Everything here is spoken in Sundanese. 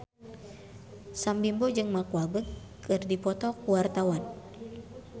Sam Bimbo jeung Mark Walberg keur dipoto ku wartawan